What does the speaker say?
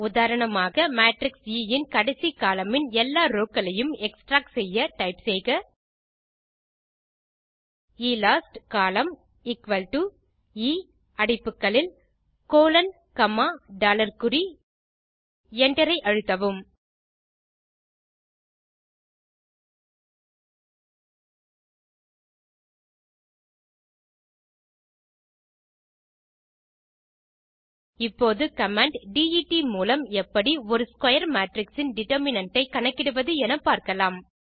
உதாரணமாக matrix A இன் கடைசி கோலம்ன் இன் எல்லா ரோவ் க்களையும் எக்ஸ்ட்ராக்ட் செய்ய டைப் செய்க Elastcol எ அடைப்புகளில் கோலோன் காமா டாலர் குறி Enter ஐ அழுத்தவும் இப்போது கமாண்ட் டெட் மூலம் எப்படி ஒரு ஸ்க்வேர் மேட்ரிக்ஸ் இன் டிட்டர்மினன்ட் ஐ கணக்கிடுவது எனப்பார்க்கலாம்